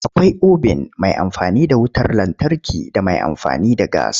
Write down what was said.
Akwai obin mai amfani da wutar lantarki da mai amfani da gas.